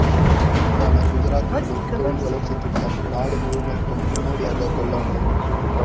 துடிப்பான குஜராத் எனும் தொழில் வளர்ச்சி திட்டம் நாடு முழுமைக்கும் முன்னோடியாக கொள்ளப்படும்